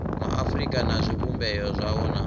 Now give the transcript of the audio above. maafurika na zwivhumbeo zwayo na